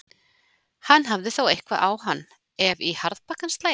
Hann hefði þá eitthvað á hann, ef í harðbakkann slægi.